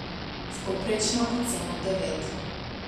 S povprečno oceno devet.